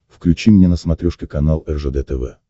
включи мне на смотрешке канал ржд тв